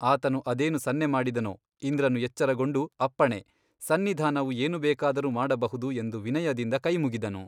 ಆತನು ಅದೇನು ಸನ್ನೆ ಮಾಡಿದನೋ ಇಂದ್ರನು ಎಚ್ಚರಗೊಂಡು ಅಪ್ಪಣೆ ಸನ್ನಿಧಾನವು ಏನು ಬೇಕಾದರೂ ಮಾಡಬಹುದು ಎಂದು ವಿನಯದಿಂದ ಕೈಮುಗಿದನು.